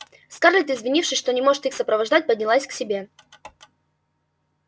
скарлетт извинившись что не может их сопровождать поднялась к себе